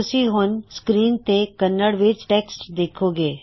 ਤੁਸੀਂ ਹੁਣ ਸਕ੍ਰੀਨ ਤੇ ਕੰਨੜ ਵਿੱਚ ਟੇਕਸਟ ਦੇਖੋਂਗੇ